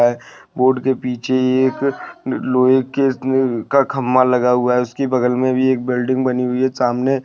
board के पीछे एक लोहे कितने का खम्मा लगा हुआ है उसकी बगल में भी एक बिल्डिंग बनी हुई है सामने--